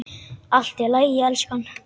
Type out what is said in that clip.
Allt í lagi, elskan.